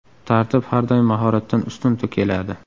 Tartib har doim mahoratdan ustun keladi.